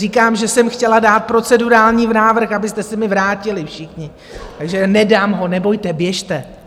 Říkám, že jsem chtěla dát procedurální návrh, abyste se mi vrátili všichni, takže nedám ho, nebojte, běžte.